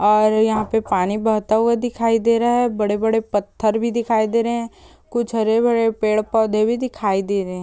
और यहाँ(hit) पे पानी बहते हुआ दिखाई दे रहा है बड़े बड़े पत्थर भी दिखाई दे रहे है कुछ हरे भरे पेड़ पौधे भी दिखाई दे रहे है।